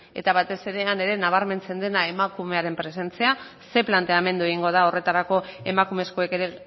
eta batez ere ea nabarmentzen dena emakumearen presentzia ze planteamendu egingo den horretarako emakumezkoek ere